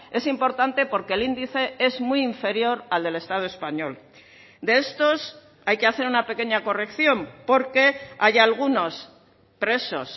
es importante porque el índice es muy inferior al del estado español de estos hay que hacer una pequeña corrección porque hay algunos presos